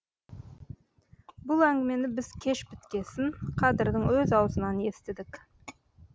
бұл әңгімені біз кеш біткесін қадырдың өз аузынан естідік